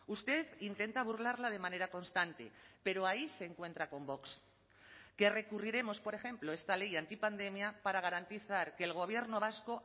usted intenta burlarla de manera constante pero ahí se encuentra con vox que recurriremos por ejemplo esta ley antipandemia para garantizar que el gobierno vasco